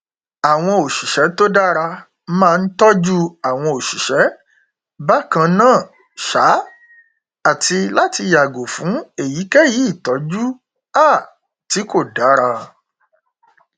àwọn òṣìṣẹ tó dára máa n tọjú àwọn òṣìṣẹ bákan náà um àti láti yàgò fún èyíkéyìí ìtọjú um tí kò dára